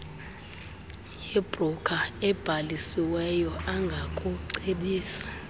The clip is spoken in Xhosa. nebroker ebhalisiweyo angakucebisa